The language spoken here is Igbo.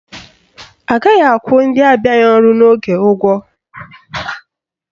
Agaghị akwụ ndị abịaghị ọrụ n'oge ụgwọ